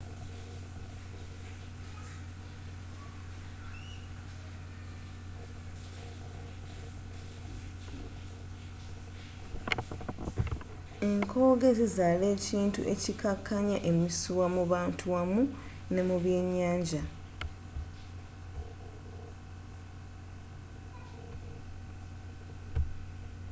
enkooge zizaala ekintu ekikkakkanya emisuwa mu bantu wamu ne mu byenyanja